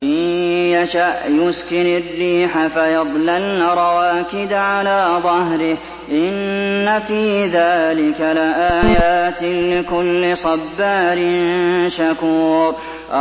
إِن يَشَأْ يُسْكِنِ الرِّيحَ فَيَظْلَلْنَ رَوَاكِدَ عَلَىٰ ظَهْرِهِ ۚ إِنَّ فِي ذَٰلِكَ لَآيَاتٍ لِّكُلِّ صَبَّارٍ شَكُورٍ